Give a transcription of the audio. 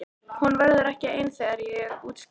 Hún verður ekki ein þegar ég útskrifast.